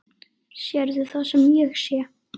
Sérðu það sem ég sé?